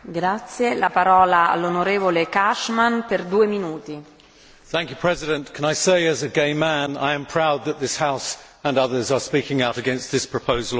Madam President, can I say, as a gay man, I am proud that this House and others are speaking out against this proposed law.